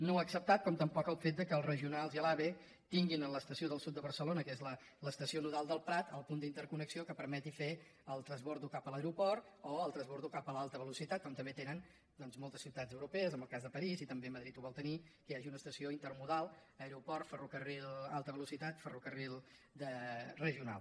no ho ha acceptat com tampoc el fet que els regionals i l’ave tinguin a l’estació del sud de barcelona que és l’estació nodal del prat el punt d’interconnexió que permeti fer el transbord cap a l’aeroport o el transbord cap a l’alta velocitat com també tenen doncs moltes ciutats europees el cas de parís i també madrid ho vol tenir que hi hagi una estació intermodal aeroport ferrocarril alta velocitat ferrocarril de regional